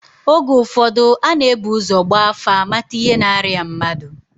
Oge ụfọdụ a na-ebu ụzọ gbaa afa, mata ihe na-arịa mmadụ